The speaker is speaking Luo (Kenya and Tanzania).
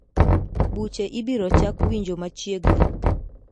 Buche ibiro chak winjo machiegni.